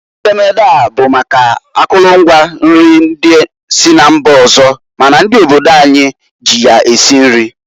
Edemede a bụ maka akụlụ ngwa nri ndi si na mba ọzọ ma na ndị obodo anyị ji ya esi nri.